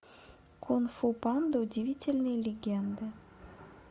кунг фу панда удивительные легенды